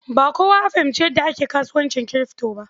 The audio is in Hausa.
Ba kowa ya fahimci yadda ake kasuwancin kirfto ba.